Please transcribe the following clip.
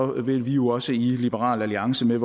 vil vi jo også i liberal alliance med